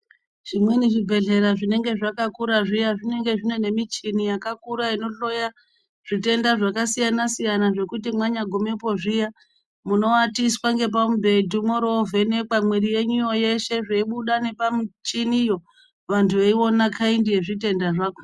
Zvimweni zvibhedhlera zvinenge zvakakura zviya zvinenge zvine nemichini yakakura inohloya zvitenda zvakasiyana siyana zvokuti mwanyagumepo zviya munoatiswa ngepamubhedhu mworo mwovhenekwa zveibuda ngepamuchiniyo vantu weiona kaindi yezvitenda zvakhona.